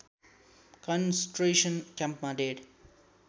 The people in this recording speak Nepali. कन्सन्ट्रेसन क्याम्पमा डेढ